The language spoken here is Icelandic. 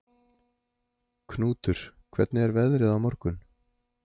Knútur, hvernig er veðrið á morgun?